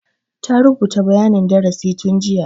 Ta rubuta bayanin darasi tun jiya.